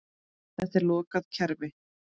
Þetta er lokað kerfi.